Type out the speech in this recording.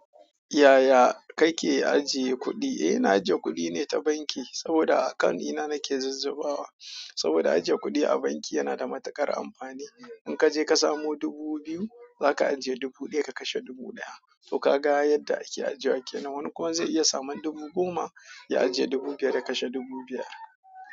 Yaya kake ajiye kuɗi? Eh ina ajiye kuɗi ne ta banki, saboda a akawun ɗina nake zuzzabawa, saboda ajiye kuɗi a banki yana da matuƙar amfani. In kaje ka samo dubu biyu, zaka ajiye dubu ɗaya ka kashe dubu ɗaya. To ka ga yadda ake ajewa kenan. Na wani kuma zai iya saman dubu goma, ya ajiye dubu biyar ya kashe dubu biyar.